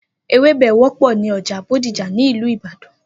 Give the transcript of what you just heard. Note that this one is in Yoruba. Ewebẹ̀ wọpọ ni ọjà Bódìjà ni Ilu Ìbàdàn